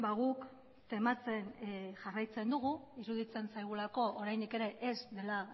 guk tematzen jarraitzen dugu iruditzen zaigulako oraindik ere ez dela